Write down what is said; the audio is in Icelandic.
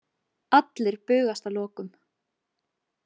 Allir bugast að lokum.